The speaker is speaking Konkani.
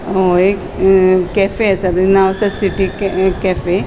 एक कैफै असा तेचे नाव असा सिटी कैफै .